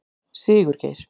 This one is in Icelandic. Sigurgeir